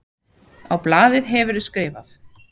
Á blaðið hefurðu skrifað.